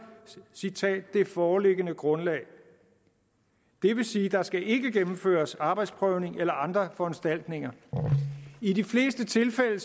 det foreliggende grundlag det vil sige at der ikke skal gennemføres arbejdsprøvning eller andre foranstaltninger i de fleste tilfælde